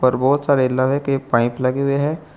पर बहोत सारे लोहे के पाइप लगे हुए हैं।